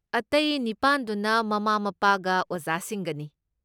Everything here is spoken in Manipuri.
ꯑꯇꯩ ꯅꯤꯄꯥꯟꯗꯨꯅ ꯃꯃꯥ ꯃꯄꯥꯒ ꯑꯣꯖꯥꯁꯤꯡꯒꯅꯤ꯫